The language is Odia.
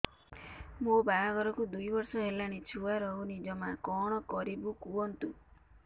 ମୋ ବାହାଘରକୁ ଦୁଇ ବର୍ଷ ହେଲାଣି ଛୁଆ ରହୁନି ଜମା କଣ କରିବୁ କୁହନ୍ତୁ